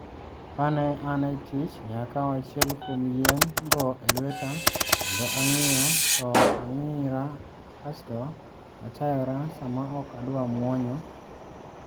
Ka ne an e tich, ne akawo achiel kuom yien go e lweta kendo ang`iyo to ang`ira kasto achayora sama ok adwa muonyo.